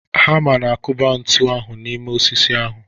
Hama na-akụba ntu ahụ n'ime osisi ahu.